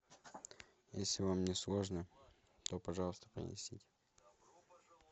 если вам не сложно то пожалуйста принесите